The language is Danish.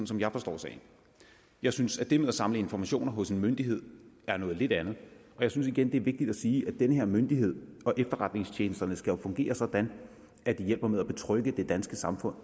som jeg forstår sagen jeg synes at det med at samle informationer hos en myndighed er noget lidt andet jeg synes igen det er vigtigt at sige at den her myndighed og efterretningstjenesterne jo skal fungere sådan at de hjælper med at betrygge det danske samfund